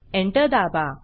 enter दाबा